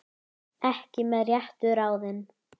Ekki með réttu ráði?